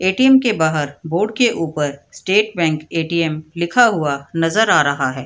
ATM. के बाहर board के ऊपर स्टेट बैंक ए.टी.एम. लिखा हुआ नजर आ रहा है।